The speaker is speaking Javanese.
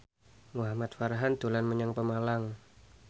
Muhamad Farhan dolan menyang Pemalang